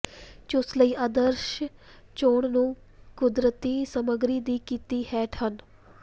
ਚੁਸਤ ਲਈ ਆਦਰਸ਼ ਚੋਣ ਨੂੰ ਕੁਦਰਤੀ ਸਮੱਗਰੀ ਦੀ ਕੀਤੀ ਹੈੱਟ ਹਨ